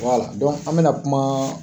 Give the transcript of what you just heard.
Wala an bɛ na kuma